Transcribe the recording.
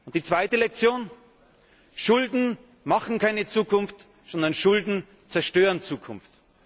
Die zweite Lektion Schulden machen keine Zukunft, sondern Schulden zerstören Zukunft.